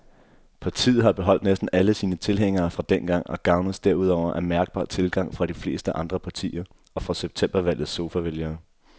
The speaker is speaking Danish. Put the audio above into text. Partiet har beholdt næsten alle sine tilhængere fra dengang og gavnes derudover af mærkbar tilgang fra de fleste andre partier og fra septembervalgets sofavælgere.